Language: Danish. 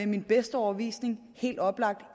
min bedste overbevisning helt oplagt